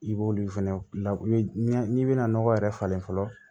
I b'olu fɛnɛ la n'i bɛna nɔgɔ yɛrɛ falen fɔlɔ